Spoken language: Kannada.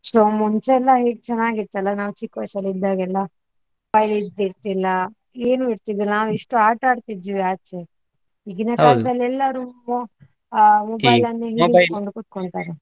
ಮುಂಚೆ ಎಲ್ಲಾ ಹೇಗೆ ಚೆನ್ನಾಗಿತ್ತಲ್ಲ ನಾವು ಚಿಕ್ಕ ವಯಸ್ಸಲ್ಲಿ ಇದ್ದಾಗೆಲ್ಲ, mobile ಇರ್ತಿಲ್ಲ, ಏನು ಇರ್ತಿಲ್ಲ ನಾವು ಎಷ್ಟು ಆಟಾಡ್ತಿದ್ವಿ ಆಚೆ ಈಗಿನ ಎಲ್ಲರೂ ಹಿಡ್ಕೊಂಡು ಕೂತ್ಕೊಳ್ತಾರೆ.